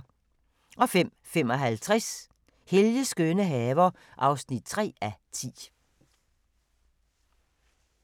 05:55: Helges skønne haver (3:10)